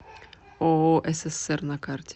ооо ссср на карте